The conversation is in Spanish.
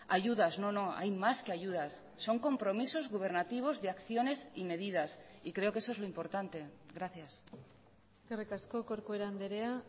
ayudas no no hay más que ayudas son compromisos gubernativos de acciones y medidas y creo que eso es lo importante gracias eskerrik asko corcuera andrea